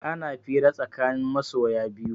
Ana fira tsakanin masoya biyu